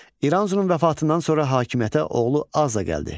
İranzunun vəfatından sonra hakimiyyətə oğlu Aza gəldi.